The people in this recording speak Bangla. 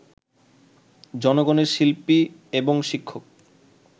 জনগণের শিল্পী এবং শিক্ষক